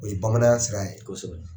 O ye bamananya sira ye kosɛbɛ.